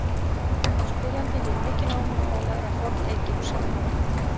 Spyrjandi hefur mikinn áhuga á að læra fornegypsku.